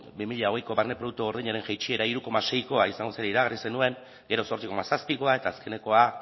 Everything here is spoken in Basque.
bi mila hogei barne produktu gordinaren jaitsiera hiru koma seikoa izango zela iragarri zenuen gero zortzi koma zazpikoa eta azkenekoa